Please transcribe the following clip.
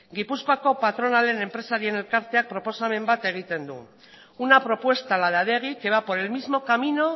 gipuzkoako patronalaren enpresarien elkarteak proposamen bat egiten du una propuesta la de adegi que va por el mismo camino